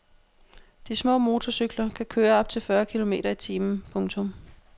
De små motorcykler kan køre op til fyrre kilometer i timen. punktum